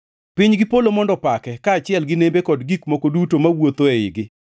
Piny gi polo mondo opake, kaachiel gi nembe kod gik moko duto mawuothoe igi,